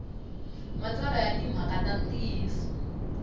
matsalwa ya timhaka ta ntiyiso